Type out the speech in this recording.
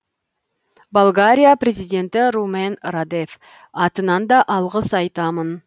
болгария президенті румен радев атынан да алғыс айтамын